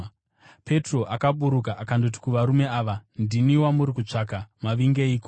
Petro akaburuka akandoti kuvarume ava, “Ndini wamuri kutsvaka. Mavingeiko?”